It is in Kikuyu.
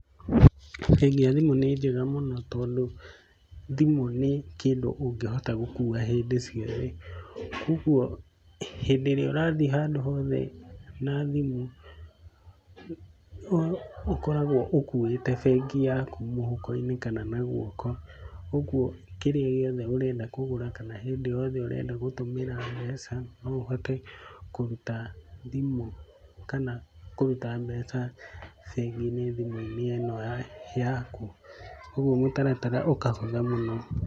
Bengi ya thimũ nĩ njega mũno tondũ, thimũ nĩ kĩndũ ũngĩhota gũkua hĩndĩ ciothe, kũguo hĩndĩ iria urathiĩ handũ hothe na thĩmũ, ũkoragwo ũkuĩte bengi yaku mũhuko-inĩ kana na guoko. Ũguo kĩrĩa gĩothe ũrenda kũgũra kana hĩndĩ o yothe ũrenda gũtũmĩra mbeca no ũhote kũruta thimu kana kũruta mbeca bengi-inĩ thimũ-inĩ ĩno yaku, ũguo mũtaratara ũkahũtha mũno